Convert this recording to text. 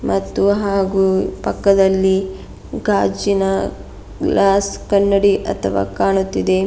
ಮತ್ತು ಹಾಗು ಪಕ್ಕದಲ್ಲಿ ಗಾಜಿನ ಗ್ಲಾಸ್ ಕನ್ನಡಿ ಅಥವ ಕಾಣುತ್ತಿದೆ.